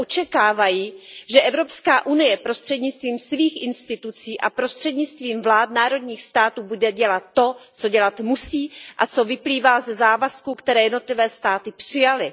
Ale očekávají, že Evropská unie prostřednictvím svých institucí a prostřednictvím vlád národních států bude dělat to, co dělat musí a co vyplývá ze závazků, které jednotlivé státy přijaly.